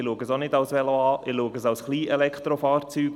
Ich betrachte es auch nicht als Velo, sondern als Kleinelektrofahrzeug.